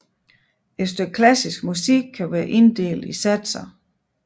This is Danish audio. Et stykke klassisk musik kan være inddelt i satser